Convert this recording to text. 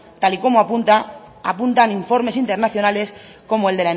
tal y como apuntan informes internacionales como